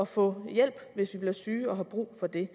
få hjælp hvis vi bliver syge og har brug for det